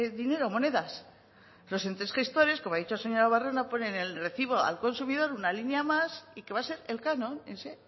dinero o monedas los entes gestores como ha dicho señora ponen en el recibo al consumidor una línea más y que va a ser el canon ese